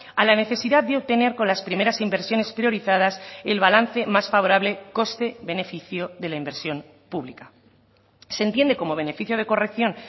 a la necesidad de obtener con las primeras inversiones priorizadas el balance más favorable coste beneficio de la inversión pública se entiende como beneficio de corrección